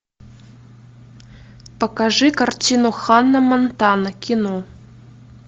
покажи картину ханна монтана кино